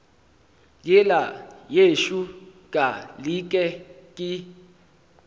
yela yešo ka leke ke